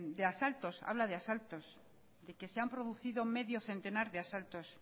de asaltos habla de asaltos y que se han producido medio centenar de asaltos